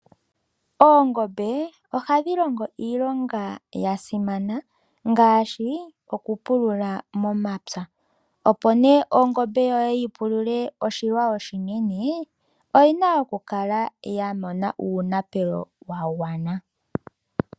Oongombe ohadhi longo iilonga yasimana ngaashi okupulula momapya, opo nee ongombe yoye yipulule oshilwa oshinene, oyina okukala yamona uunapelo wagwana.